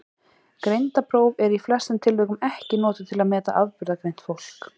Greindarpróf eru í flestum tilvikum ekki notuð til að meta afburðagreint fólk.